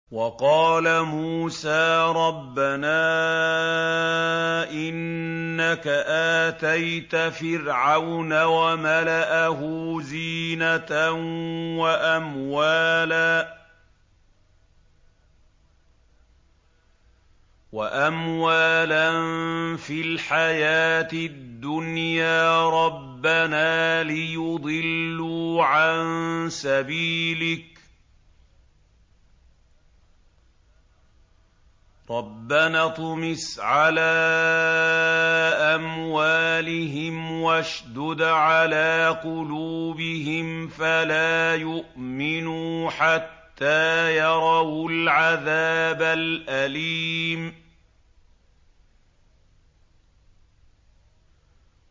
وَقَالَ مُوسَىٰ رَبَّنَا إِنَّكَ آتَيْتَ فِرْعَوْنَ وَمَلَأَهُ زِينَةً وَأَمْوَالًا فِي الْحَيَاةِ الدُّنْيَا رَبَّنَا لِيُضِلُّوا عَن سَبِيلِكَ ۖ رَبَّنَا اطْمِسْ عَلَىٰ أَمْوَالِهِمْ وَاشْدُدْ عَلَىٰ قُلُوبِهِمْ فَلَا يُؤْمِنُوا حَتَّىٰ يَرَوُا الْعَذَابَ الْأَلِيمَ